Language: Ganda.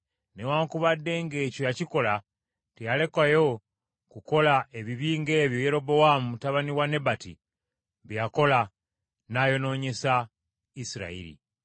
Newaakubadde ng’ekyo yakikola, teyalekayo kukola ebibi ng’ebyo Yerobowaamu mutabani wa Nebati bye yakola, n’ayonoonyesa Isirayiri.